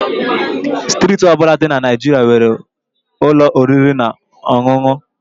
Steeti ọ bụla dị na Naịjirịa nwere ụlọ oriri na ọṅụṅụ